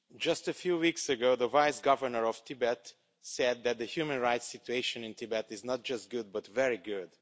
Mr President, just a few weeks ago the Vice-Governor of Tibet said that the human rights situation in Tibet is not just good, but very good.